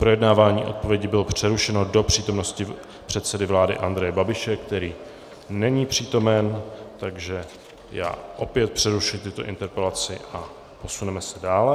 Projednávání odpovědi bylo přerušeno do přítomnosti předsedy vlády Andreje Babiše, který není přítomen, takže já opět přerušuji tuto interpelaci a posuneme se dále.